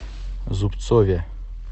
зубцове